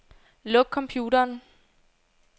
Luk computeren.